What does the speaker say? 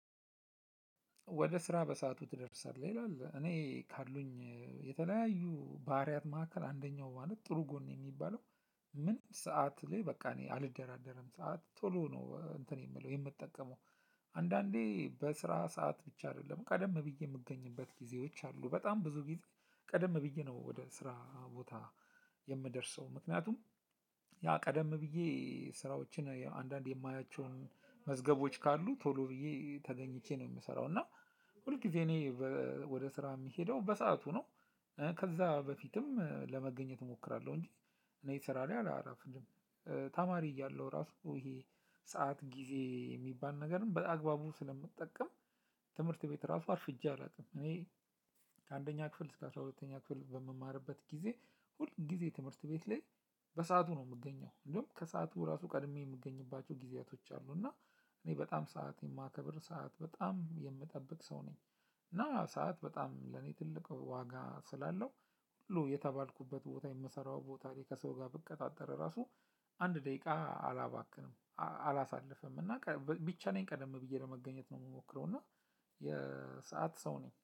ወደ ስራ በሰአቱ ትደርሳለህ ይላል እኔ ካሉኝ የተለያዩ ባህሪያት ማዕከል አንደኛው ማለት ጥሩ ጎን እሚባለው ምንም ሰዓት ላይ በቃ እኔ አልደራደርም ሰዓት ቶሎ ነው እንትን የምለው የምጠቀመው። አንዳንዴ በስራ ሰዓት ብቻ አይደለም ቀደም ብዬ የምገኝበት ጊዜዎች አሉ በጣም ብዙ ጊዜ ቀደም ብዬ ነው ወደ ስራ ቦታ የምደርሰው ምክንያቱም ያ ቀደም ብዬ ስራዎችን አንዳንዴ የማያቸውን መዝገቦች ካሉ ቶሎ ብዬ ተገኝቼ ነው እምሰራው። እና ሁል ጊዜ እኔ ወደ ስራ እምሄደው በሰአቱ ነው። ከዛ በፊትም ለመገኘት እሞክራለሁ እንጂ እኔ ስራ ላይ አላረፍድም። ተማሪ እያለሁ ራሱ ይሄ ሰዓት ጊዜ የሚባል ነገርን በአግባቡም ስለምጠቀም። ትምህርት ቤት ራሱ አርፍጄ አላውቅም። እኔ ከአንደኛ ክፍል እስከ አስራ ሁለተኛ ክፍል በምማርበት ጊዜ ሁል ጊዜ ትምህርት ቤት ላይ በሰአቱ ነው የምገኘው እንደውም ከሰአቱ ራሱ ቀድሜ የምገኝባቸው ጊዜያቶች አሉ። እና እኔ በጣም ሰዓት የማከብር ሰዓት በጣም የምጠብቅ ሰው ነኝ። እና ሰዓት በጣም ለኔ ትልቅ ዋጋ ስላለው ሁሉ የተባልኩበት ቦታ የምሰራው ቦታ ላይ ከሰው ጋር ብቀጣጠር ራሱ አንድ ደቂቃ አላባክንም። አላሳልፍም እና ቢቻለኝ ቀደም ብዬ ለመገኘት ነው እምሞክረው እና የሰዓት ሰው ነኝ